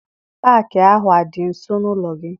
Paakị ahụ adị nso n'ụlọ gị?